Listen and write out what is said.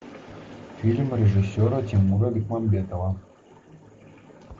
фильм режиссера тимура бекмамбетова